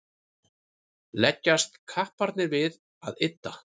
leggjast kapparnir við að ydda